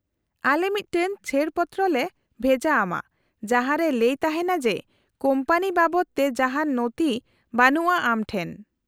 -ᱟᱞᱮ ᱢᱤᱫᱴᱟᱝ ᱪᱷᱟᱹᱲ ᱯᱚᱛᱨᱚ ᱞᱮ ᱵᱷᱮᱡᱟ ᱟᱢᱟ ᱡᱟᱦᱟᱸ ᱨᱮ ᱞᱟᱹᱭ ᱛᱟᱦᱮᱱᱟ ᱡᱮ ᱠᱳᱢᱯᱟᱱᱤ ᱵᱟᱵᱚᱛᱮ ᱡᱟᱦᱟᱱ ᱱᱚᱛᱷᱤ ᱵᱟᱱᱩᱜᱼᱟ ᱟᱢ ᱴᱷᱮᱱ ᱾